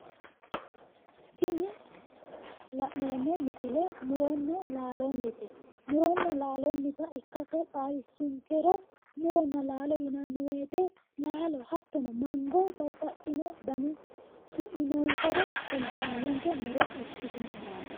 Tiini la'neemmo misile muronna laalonnite. muronna laalonnita ikkase xawissunkero, muronna laalo yinanni woyiite laalo hattono mango, babbaxxino dani su'mi noonsare kultanonke muro ikkitinohuraati.